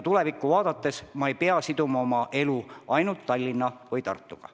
Tulevikku vaadates ei pea inimene siduma oma elu ainult Tallinna või Tartuga.